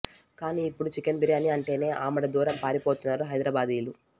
కానీ ఇప్పుడు చికెన్ బిర్యానీ అంటేనే ఆమడ దూరం పారిపోతున్నారు హైదరాబాదీలు